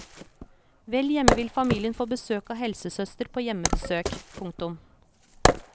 Vel hjemme vil familien få besøk av helsesøster på hjemmebesøk. punktum